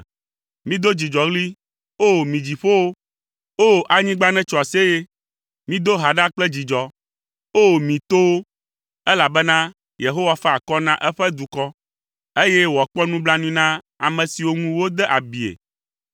Mido dzidzɔɣli, o mi dziƒowo! O! Anyigba netso aseye. Mido ha ɖa kple dzidzɔ. O, mi towo! Elabena Yehowa fa akɔ na eƒe dukɔ, eye wòakpɔ nublanui na ame siwo ŋu wode abie.